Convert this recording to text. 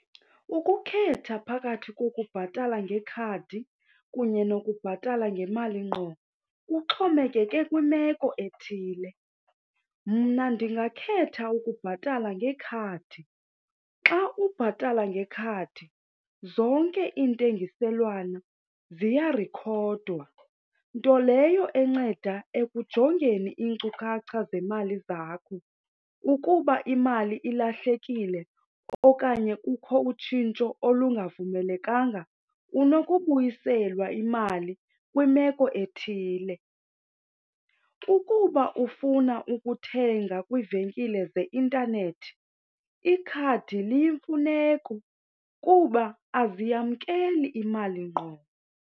Ukukhetha phakathi kokubhatala ngekhadi kunye nokubhatala ngemali ngqo kuxhomekeke kwimeko ethile. Mna ndingakhetha ukubhatala ngekhadi. Xa ubhatala ngekhadi zonke iintengiselwana ziyarikhodwa, nto leyo enceda ekujongeni iinkcukacha zemali zakho. Ukuba imali ilahlekile okanye kukho utshintsho olungavumelekanga, unokubuyiselwa imali kwimeko ethile. Ukuba ufuna ukuthenga kwiivenkile zeintanethi ikhadi liyimfuneko kuba aziyamkeli imali ngqo.